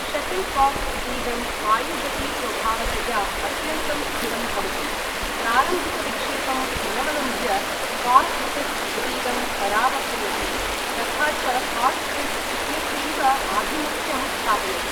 Shuttle coke इतीदं वायुगतिस्वभावतया अत्यन्तं स्थिरं भवति प्रारम्भिकविक्षेपम् अनवलम्ब्य, कार्क् ऴिस्ट् इतीदं परावर्तयति तथा च कार्क् ऴिस्ट् इत्यस्यैव आभिमुख्यं स्थापयति।